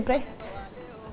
breytt